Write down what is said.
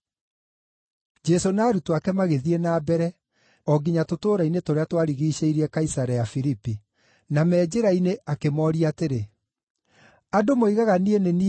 Jesũ na arutwo ake magĩthiĩ na mbere o nginya tũtũũra-inĩ tũrĩa twarigiicĩirie Kaisarea-Filipi. Na me njĩra-inĩ akĩmooria atĩrĩ, “Andũ moigaga niĩ nĩ niĩ ũ?”